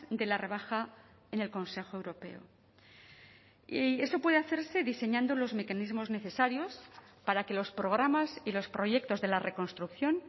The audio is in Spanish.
de la rebaja en el consejo europeo y eso puede hacerse diseñando los mecanismos necesarios para que los programas y los proyectos de la reconstrucción